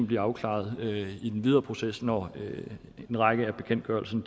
blive afklaret i den videre proces når en række af bekendtgørelserne